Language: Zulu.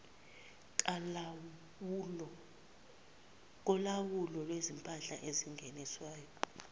kolawulo lwezimpahla ezingeniswayo